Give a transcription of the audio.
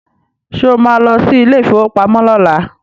Sọ ma lọ sí ilé ìfowópamọ́ lọ́la?